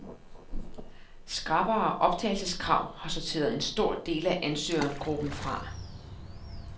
Skrappere optagelseskrav har sorteret en stor del af ansøgergruppen fra.